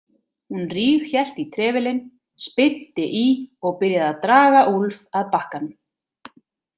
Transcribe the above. Hún ríghélt í trefilinn, spyrnti í og byrjaði að draga Úlf að bakkanum.